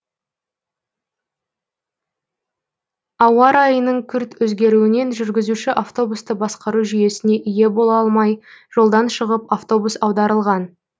ауа райының күрт өзгеруінен жүргізуші автобусты басқару жүйесіне ие бола алмай жолдан шығып автобус аударылған